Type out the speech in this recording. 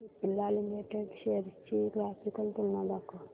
Cipla limited shares ची graphical तुलना दाखव